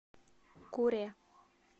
куре